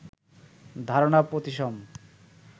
ধারণা প্রতিসম